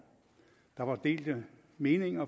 der var delte meninger